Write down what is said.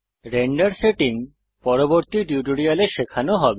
render settings পরবর্তী টিউটোরিয়ালে শেখানো হবে